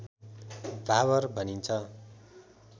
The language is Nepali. भाबर भनिन्छ